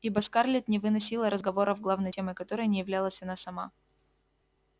ибо скарлетт не выносила разговоров главной темой которых не являлась она сама